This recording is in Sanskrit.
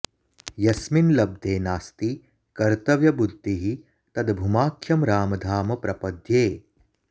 यस्मिंल्लब्धे नास्ति कर्तव्य बुद्धिः तद् भूमाख्यं रामधाम प्रपद्ये